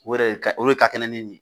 O yɛrɛ ka o de ka kɛnɛ ni nin ye